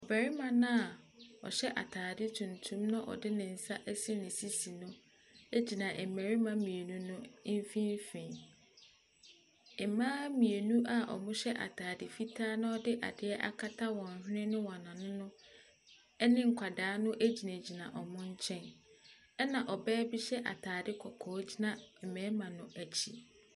Barima no a ɔhyɛ atadeɛ tuntum na ɔde ne nsa asi ne sisi no gyina mmarima mmienu no mfimfini. Mmaa mmienu a wɔhyɛ atade fitaa na wɔde adeɛ akata wɔn hwene ne wɔn ano no ne nkwadaa no gyinagyina wɔn nkyɛn. Ɛna ɔbaa bi hyɛ atadeɛkɔkɔɔ gyina mmarima no akyi.